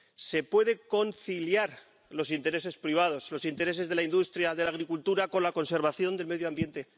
Se pueden conciliar los intereses privados, los intereses de la industria y de la agricultura con la conservación del medio ambiente.